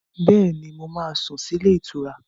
Bẹ́ẹ̀ni, mo máa sùn sí ilé-ìtura.